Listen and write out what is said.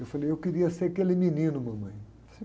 Eu falei, eu queria ser aquele menino, mamãe.